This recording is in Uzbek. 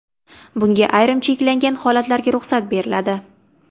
Bunga ayrim cheklangan holatlarda ruxsat beriladi.